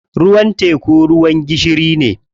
Ruwan teku ruwan gishiri ne.